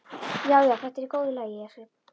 Já, já, þetta er í góðu lagi.